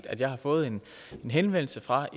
at jeg har fået en henvendelse fra